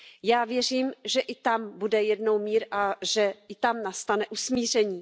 Já věřím, že i tam bude jednou mír a že i tam nastane usmíření.